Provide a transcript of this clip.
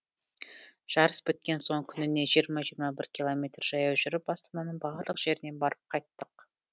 жарыс біткен соң күніне жиырма жиырма бір километр жаяу жүріп астананың барлық жеріне барып қайттық